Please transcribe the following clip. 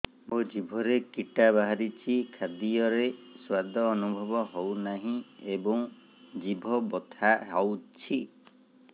ମୋ ଜିଭରେ କିଟା ବାହାରିଛି ଖାଦ୍ଯୟରେ ସ୍ୱାଦ ଅନୁଭବ ହଉନାହିଁ ଏବଂ ଜିଭ ବଥା ହଉଛି